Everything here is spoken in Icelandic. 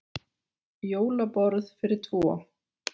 Jólaborð fyrir tvo.